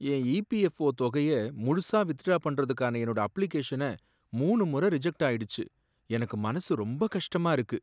என் EPFO தொகைய முழுசா withdraw பண்றதுக்கான என்னோட அப்ளிகேஷன மூனு முறை ரிஜக்ட் ஆயிடுச்சு எனக்கு மனசு ரொம்ப கஷ்டமா இருக்கு.